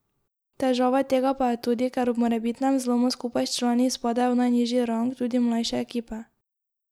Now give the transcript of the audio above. Težava tega pa je tudi, ker ob morebitnem zlomu skupaj s člani izpadejo v najnižji rang tudi mlajše ekipe.